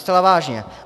Zcela vážně.